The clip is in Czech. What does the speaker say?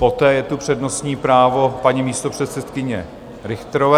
Poté je tu přednostní právo paní místopředsedkyně Richterové.